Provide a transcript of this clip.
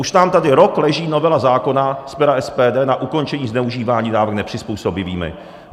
Už nám tady rok leží novela zákona z pera SPD na ukončení zneužívání dávek nepřizpůsobivými.